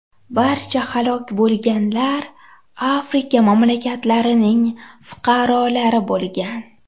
Barcha halok bo‘lganlar Afrika mamlakatlarining fuqarolari bo‘lgan.